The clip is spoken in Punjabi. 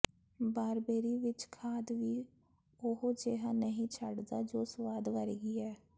ਬਾਰਬੇਰੀ ਵਿੱਚ ਖਾਦ ਵੀ ਉਹੋ ਜਿਹਾ ਨਹੀਂ ਛੱਡਦਾ ਜੋ ਸਵਾਦ ਵਰਗੀ ਹੈ